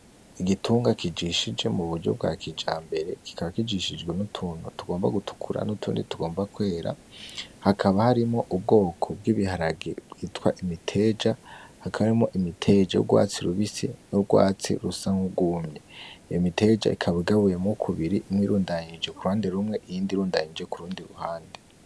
Igitunga kijishije muburyo bwa kijambere, kikaba kijishijwe n'utuntu tugomba gutukura n'utundi tugomba kwera, hakaba harimwo ubwoko bw'ibiharage bwitwa imiteja, hakaba harimwo imiteja y'urwatsi rubisi n'urwatsi rusa nk'urwumye. Iyo miteja ikaba igabuyemwo kubiri, imwe irundanije kuruhande rumwe, iyindi irundanije kurundi ruhande.